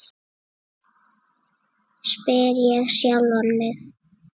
spyr ég sjálfan mig.